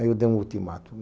Aí eu dei um ultimato.